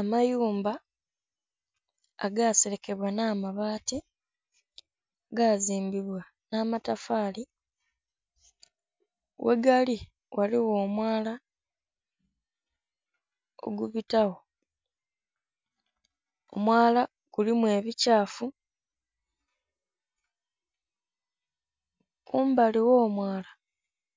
Amayumba agaselekebwa nh'amabaati, gazimbibwa nh'amatafaali. Ghegali ghaligho omwala ogubitawo. Omwala gulimu ebikyafu, kumbali gh'omwala